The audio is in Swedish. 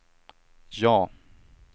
ja